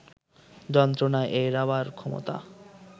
যন্ত্রণা এড়াবার ক্ষমতা